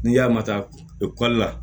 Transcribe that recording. N'i y'a matarafa la